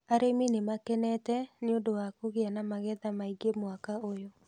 Arĩmi nĩ makenete nĩũndũ wa kũgĩa na magetha maingĩ mwaka ũyũ